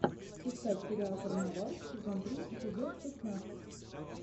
искать сериал карнавал сезон три эпизод шестнадцать